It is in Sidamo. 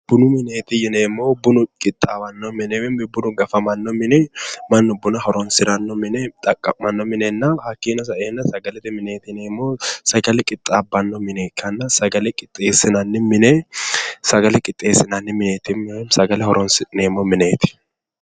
Bunu mineet yineemohu bunu qixaawanno mine woyim bunu gafamanno mine mannu buna horonisiranno mine xaqqa'mano minena hakiino sae"eena sagalete mineeti yineemohu sagale qixaabbanno mine ikkana sagale qoxeesinanni mine sagale qoxeesinanni mineeti yineemo sagale horoni'sineemo mineeti